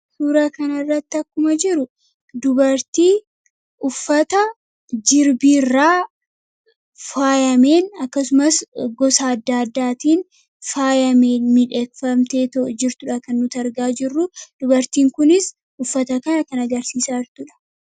Suuraa kana irratti akkuma jiru dubartii uffata jirbiirraa faayameen akkasumas gosa adda addaatiin faayameen midheegfamtee too jirtuudha. Kan nuti argaa jirru dubartiin kunis uffata kan akkan agarsiisa jirtuudha.